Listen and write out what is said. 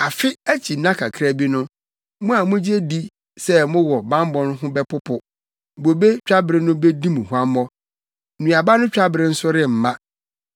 Afe akyi nna kakra bi no mo a mugye di sɛ mowɔ bammɔ ho bɛpopo; bobe twabere no bedi mo huammɔ, nnuaba no twabere nso remma.